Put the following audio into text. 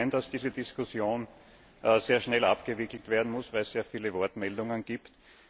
Ich sehe schon ein, dass diese Diskussion sehr schnell abgewickelt werden muss, weil es sehr viele Wortmeldungen gibt.